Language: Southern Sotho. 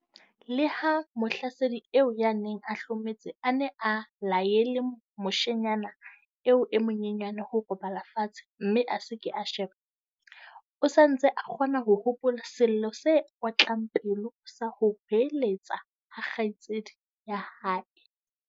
Le ha mohlasedi eo ya neng a hlometse a ne a laele moshemane eo e monyenyane ho robala fatshe mme a se ke a sheba, o sa ntse a kgona ho hopola sello se otlang pelo sa ho hoeletsa ha kgaitsedi ya hae.